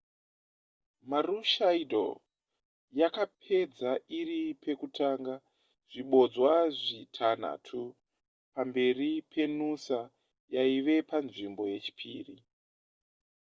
maroochydore yakapedza iri pekutanga zvibodzwa zvitanhatu pamberi penoosa yaiva panzvimbo yechipiri